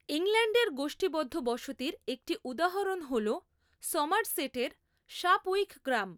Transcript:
ইংল্যান্ডের গোষ্ঠীবদ্ধ বসতির একটি উদাহরণ হলো সমারসেটের শাপউইক গ্রাম।